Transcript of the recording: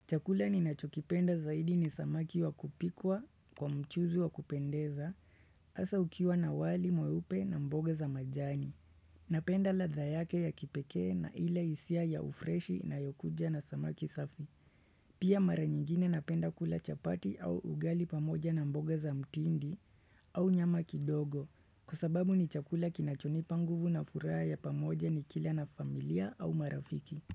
Chakula ni nacho kipenda zaidi ni samaki wa kupikwa kwa mchuzi wa kupendeza, hasa ukiwa na wali mweupe na mboga za majani. Napenda ladha yake ya kipekee na ile hisia ya ufreshi inayokuja na samaki safi. Pia mara nyingine napenda kula chapati au ugali pamoja na mboga za mtindi. Au nyama kidogo, kwa sababu ni chakula kinachonipa nguvu na furaha ya pamoja ni kila na familia au marafiki.